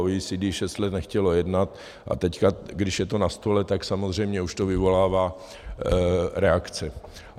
OECD šest let nechtělo jednat a teď, když je to na stole, tak samozřejmě už to vyvolává reakce.